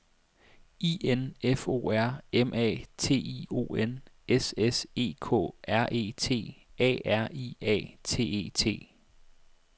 I N F O R M A T I O N S S E K R E T A R I A T E T